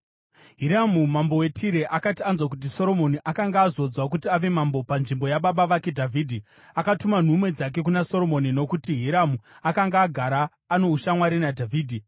Hiramu mambo weTire akati anzwa kuti Soromoni akanga azodzwa kuti ave mambo panzvimbo yababa vake Dhavhidhi, akatuma nhume dzake kuna Soromoni, nokuti Hiramu akanga agara ano ushamwari naDhavhidhi.